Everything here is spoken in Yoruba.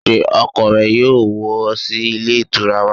Sé ọkọ rẹ yóò wọ̀ sí Ilé Ìtura wà